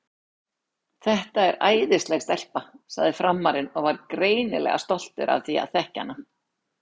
Þetta er æðisleg stelpa, sagði Frammarinn og var greinilega stoltur af því að þekkja hana.